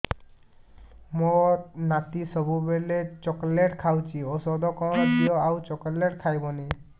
ମୋ ନାତି ସବୁବେଳେ ଚକଲେଟ ଖାଉଛି ଔଷଧ କଣ ଦିଅ ଆଉ ଚକଲେଟ ଖାଇବନି